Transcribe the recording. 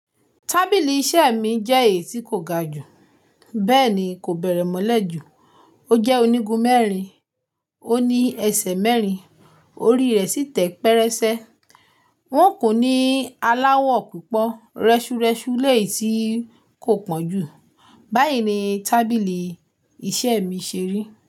Tábìlì iṣẹ́ mi jẹ́ èyí tí kò ga jù, bẹ́ẹ̀ ni kò bẹ̀rẹ̀ mọ́lẹ̀ jù. Ó jẹ́ onígun mẹ́rin, ó ní ẹsẹ̀ mẹ́rin, orí rẹ̀ sì tẹpẹrẹsẹ. Wọ́n kun ní aláwọ̀ púpọ̀, rẹ́ṣurẹ́ṣu lèi tí kò pọ̀ jù. Báyìí ni tábìlì iṣẹ́ mi ṣeri.